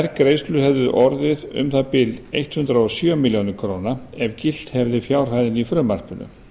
þær greiðslur hefðu orðið um það bil hundrað og sjö milljónir króna ef gilt hefði fjárhæðin í frumvarpinu